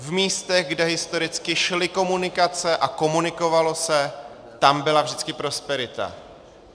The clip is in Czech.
V místech, kde historicky šly komunikace a komunikovalo se, tam byla vždycky prosperita.